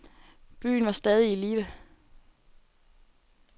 Byen var stadig i live.